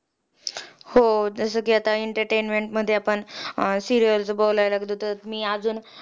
प्रातःकाळी या ऋतूत रात्र फार मोठी असल्यामुळे सकाळी झोपून उठल्यावर मनुष्याला भूक लागते म्हणून